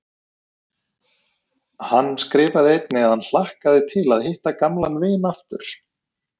Hann skrifaði einnig að hann hlakkaði til að hitta gamlan vin aftur.